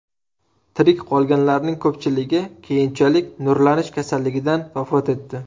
Tirik qolganlarning ko‘pchiligi keyinchalik nurlanish kasalligidan vafot etdi.